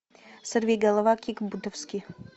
сорвиголова кик бутовски